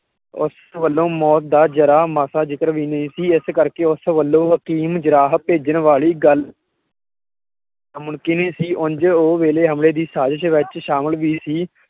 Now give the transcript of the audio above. ਉਸ ਵਲੋਂ ਮੌਤ ਦਾ ਜਰਾਂ ਮਾਸਾ ਜਿਕਰ ਵੀ ਨਹੀਂ ਸੀ। ਇਸ ਕਰਕੇ ਉਸ ਵੱਲੋਂ ਹਕੀਮ ਜਰਾਹ ਭੇਜਣ ਵਾਲੀ ਗੱਲ ਮੁਣਕਿਨ ਹੀਂ ਸੀ। ਉਝ ਉਹ ਹਮਲੇ ਦੀ ਸਾਜ਼ਿਸ ਵਿੱਚ ਸ਼ਾਮਿਲ ਵੀ ਸੀ